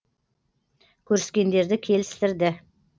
көріскендерді келістірді